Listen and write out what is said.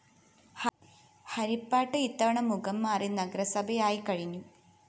ഹരിപ്പാട് ഇത്തവണ മുഖം മാറി നഗരസഭയായിക്കഴിഞ്ഞു